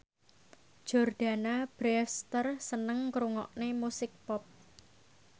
Jordana Brewster seneng ngrungokne musik pop